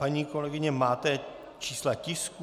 Paní kolegyně, máte čísla tisků?